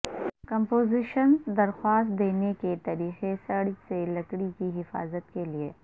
compositions درخواست دینے کے طریقے سڑ سے لکڑی کی حفاظت کے لئے